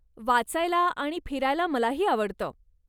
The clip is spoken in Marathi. वाचायला आणि फिरायला मलाही आवडतं.